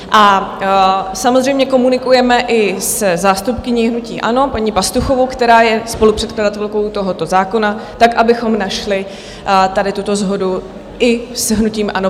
A samozřejmě komunikujeme i se zástupkyní hnutí ANO paní Pastuchovou, která je spolupředkladatelkou tohoto zákona, tak abychom našli tady tuto shodu i s hnutím ANO.